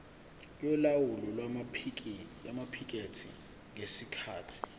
yolawulo lwamaphikethi ngesikhathi